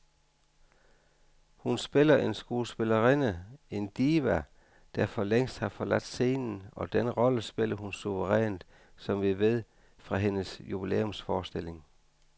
Hun spiller en skuespillerinde, en diva, der for længst har forladt scenen, og den rolle spiller hun suverænt, som vi ved fra hendes jubilæumsforestilling.